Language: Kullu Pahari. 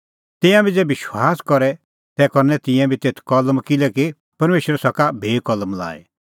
तिंयां बी ज़ै विश्वास करे तै करनै तिंयां भी तेथै कलम किल्हैकि परमेशर सका भी कलम लाई